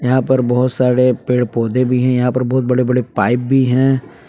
यहां पर बहोत सारे पेड़ पौधे भी हैं यहां पर बहोत बड़े बड़े पाइप भी हैं।